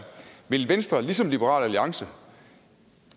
vil venstre ligesom liberal alliance